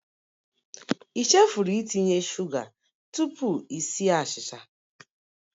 I chefuru itinye sugar tupu i sie achịcha?